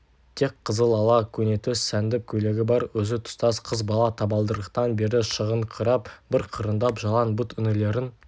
тек қызылала көнетоз сәндіп көйлегі бар өзі тұстас қыз бала табалдырықтан бері шығыңқырап бір қырындап жалаң бұт інілерін